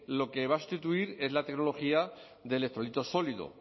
lo que va a sustituir es la tecnología de electrolito sólido